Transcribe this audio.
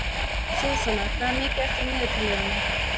Súsanna, hvað er mikið eftir af niðurteljaranum?